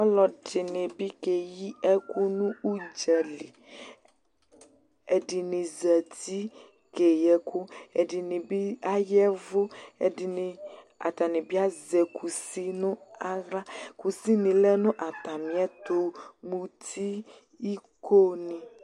Ɔlɔdɩnɩ bɩ keyi ɛkʋ nʋ ʋdza li. Ɛdɩnɩ zati keyi ɛkʋ, ɛdɩnɩ bɩ aya ɛvʋ, ɛdɩnɩ, atanɩ azɛ kusi nʋ aɣla. Kusinɩ lɛ nʋ atamɩɛtʋ, muti, ikonɩ ...